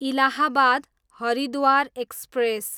Allahabad, Haridwar express